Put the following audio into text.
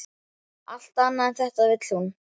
Allt annað en þetta vill hún.